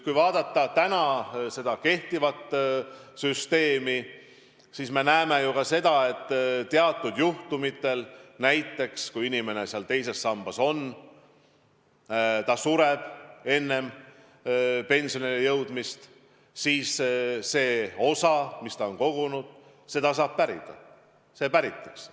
Kui vaadata kehtivat süsteemi, siis me näeme ju ka seda, et kui inimesel on teise samba leping ja ta sureb enne pensionile jõudmist, siis see osa, mis ta on kogunud, päritakse.